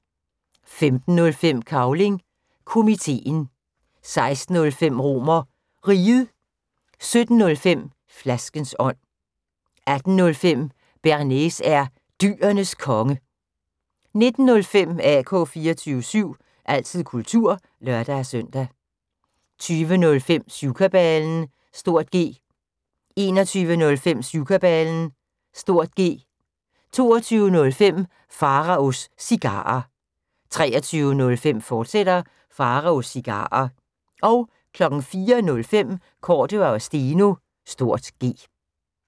15:05: Cavling Komiteen 16:05: RomerRiget 17:05: Flaskens ånd 18:05: Bearnaise er Dyrenes Konge 19:05: AK 24syv – altid kultur (lør-søn) 20:05: Syvkabalen (G) 21:05: Syvkabalen (G) 22:05: Pharaos Cigarer 23:05: Pharaos Cigarer, fortsat 04:05: Cordua & Steno (G)